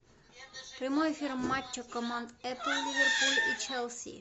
прямой эфир матча команд апл ливерпуль и челси